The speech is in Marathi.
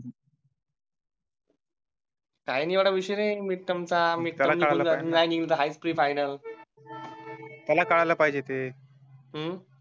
काही ना एवढा विषय मिड टर्म चा आहे प्री फायनल त्याला कळायला पाहिजे ते